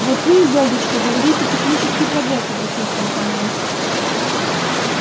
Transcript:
вот вы изольдочка говорите технический прогресс обратился он ко мне